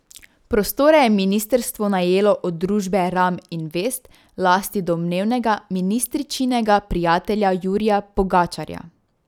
Prostore je ministrstvo najelo od družbe Ram Invest v lasti domnevnega ministričinega prijatelja Jurija Pogačarja.